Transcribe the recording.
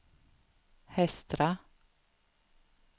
Hestra